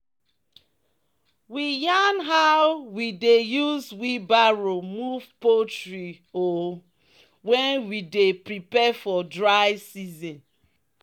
"we yarn how we dey use wheelbarrow move poultry poo when we dey prepare for dry season."